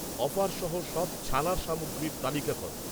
offer সহ সব ছানার সামগ্রীর তালিকা কর